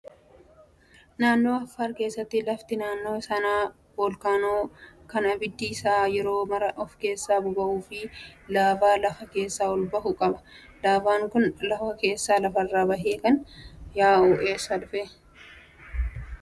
Naannoo affaar keessatti lafti naannoo sanaa voolkaanoo kan abiddi isaa yeroo maraa of keessaa boba'uu fi laavaa lafa keessaa ol bahu qaba. Laavaan kun lafa keessaa lafarra bahee kan yaa'u eessaa dhufee?